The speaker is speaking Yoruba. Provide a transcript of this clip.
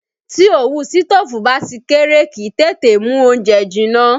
Tí òwú sitofu bá ti kéré, kì í tètè mú oúnjẹ jinná